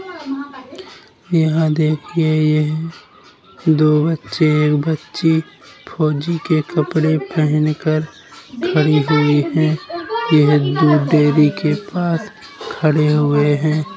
यहाँ देखिए यह दो बच्चे एक बच्ची फौजी के कपड़े पहन कर खड़ी हुई है। यह दूध डेयरी के पास खड़े हुए हैं।